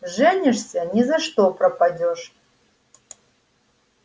женишься ни за что пропадёшь